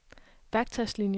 værktøjslinier